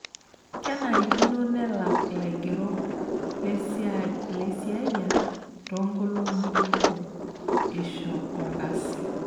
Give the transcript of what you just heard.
Kenarikino nelak laigerok lesiai laisiyiak too nkolongi neitu eisho olkasi.